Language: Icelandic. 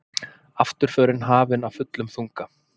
Afturförin hafin af fullum þunga.